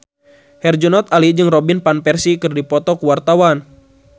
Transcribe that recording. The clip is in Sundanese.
Herjunot Ali jeung Robin Van Persie keur dipoto ku wartawan